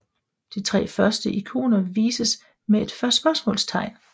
De første 3 ikoner vises med et spørgsmålstegn